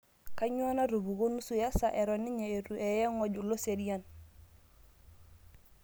Kanyoo natupukuo nusu esaa eton ninye itu eye goj loserian?